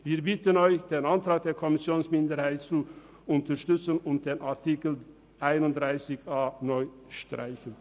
Wir bitten Sie, den Antrag der Kommissionsminderheit zu unterstützen und den Artikel 31a (neu) zu streichen.